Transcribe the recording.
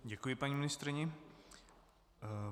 Děkuji paní ministryni.